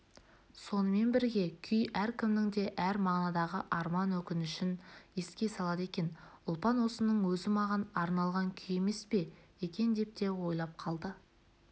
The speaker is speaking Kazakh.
сонымен бірге күй әркімнің де әр мағынадағы арман-өкінішін еске салады екен ұлпан осының өзі маған арналған күй емес пе екен деп те ойлап қалды